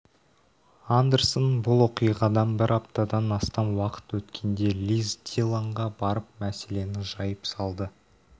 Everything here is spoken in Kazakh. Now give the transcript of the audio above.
андерсон бұл оқиғадан бір аптадан астам уақыт өткенде лиз диллонға барып мәселені жайып салды